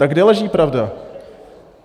Tak kde leží pravda?